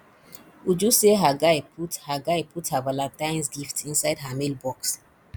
uju say her guy put her guy put her valantines gift inside her mail box